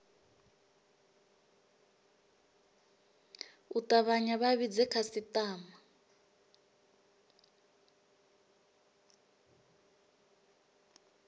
u tavhanya vha vhidze khasitama